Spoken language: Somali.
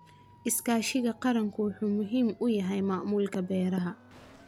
Iskaashiga qaranku wuxuu muhiim u yahay maamulka beeraha.